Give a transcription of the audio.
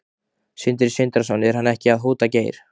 Sindri Sindrason: Er hann ekki að hóta Geir?